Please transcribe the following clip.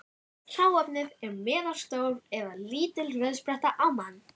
Hráefnið er meðalstór eða lítil rauðspretta á mann.